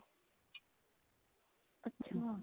ਅੱਛਾ